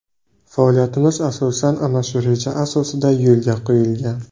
Faoliyatimiz asosan ana shu reja asosida yo‘lga qo‘yilgan.